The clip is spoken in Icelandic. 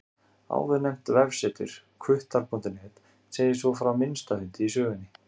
Áðurnefnt vefsetur, hvuttar.net, segir svo frá minnsta hundi í sögunni.